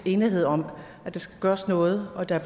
enige om at der skal gøres noget og at der